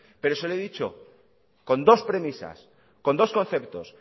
pero se lo he dicho con dos premisas con dos conceptos